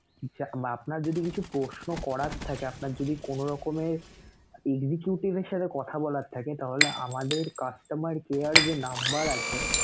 আপনার যদি কিছু প্রশ্ন করার থাকে, আপনার যদি কোন রকমের executive দের সাথে কথা বলার থাকে তাহলে আমাদের customer care যে number আছে